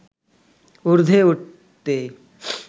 উর্ধ্বে উঠতে